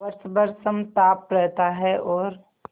वर्ष भर समताप रहता है और